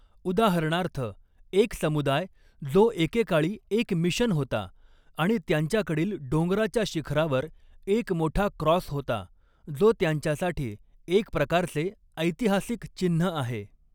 उदाहरणार्थ, एक समुदाय जो एकेकाळी एक मिशन होता आणि त्यांच्याकडील डोंगराच्या शिखरावर एक मोठा क्रॉस होता जो त्यांच्यासाठी एक प्रकारचे ऐतिहासिक चिन्ह आहे.